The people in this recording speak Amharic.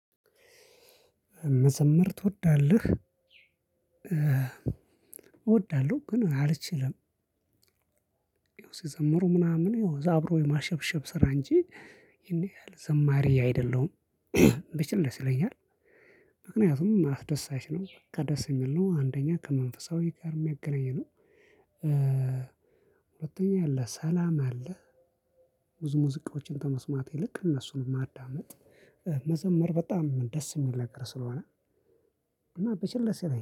መዘምር ትወዳለህ? እወዳለሁ ግን አልችልም ይሄው ሲዘምሩ ምናምን ይሄው አብሮ የማሸብሸብ ስራ እንጂ ይሄን ያህል ዘማሪ አይደለሁም ብችል ደስ ይለኛል ምክንያቱም አስደሳች ነው ከደስ የሚል ነው አንደኛ ከመንፈሳዊ ጋር የሚያገናኝ ነው። ሁለተኛ ያለ ሰላም አለ ብዙ ሙዚቃዎችን ተመስማቴ ልክ እነሱንም ማዳመጥ መዘመር በጣም ደስ የሚነገር ስለሆነ እና በቸልለሰበት